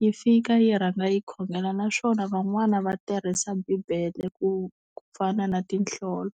yi fika yi rhanga yi khongela naswona van'wana va tirhisa bibele ku ku fana na tinhlolo.